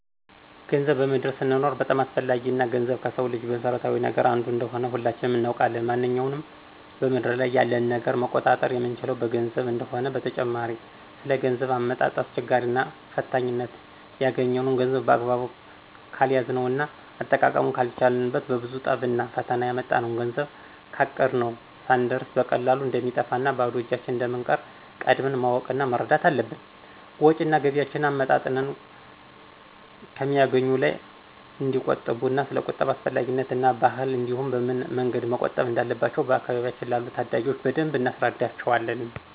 ገንዘብ በምድር ስንኖር በጣም አስፈላጊ እና ገንዘብ ከስው ልጅ መሰረታዊ ነገር አንዱ እንደሆነ ሁላችንም እናውቃለን ማነኛውንም በምድር ላይ ያለን ነገር መቆጣጠር የምንችለው በገንዘብ እንደሆነ፣ በተጨማሪ ስለ ገንዘብ አመጣጥ አስቸጋሪነት እና ፈታኝነት እና ያግኘነውን ገንዘብ በአግባቡ ካልያዝነው እና አጠቃቀሙን ካልቻልነው በብዙ ጥረቭና ፈተና ያመጣነውን ገንዘብ ካቀድነው ስንየርስ በቀላሉ እንደሚጠፋ እና ባዶ እጃችን እንደምንቀር ቀድመን ማወቅ እና መረዳት አለብን። ወጭ እና ገቢያቸውን አመጣጥነው ከሚያገኙት ላይ እንዲቆጥቡ እና ሰለ ቁጠባ አስፈላጊነት እና ባህል እንዲሁም በምን መንገድ መቆጠብ እንዳለባቸው በአካባቢያችን ላሉ ታዳጊዎች በደንብ እናስረዳቸዋለን።